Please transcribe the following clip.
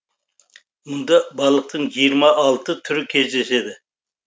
мұнда балықтың жиырма алты түрі кездеседі